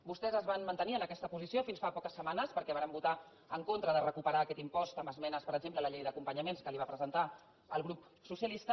vostès es van mantenir en aquesta posició fins fa poques setmanes perquè varen votar en contra de recuperar aquest impost amb esmenes per exemple a la llei d’acompanyament que els va presentar el grup socialista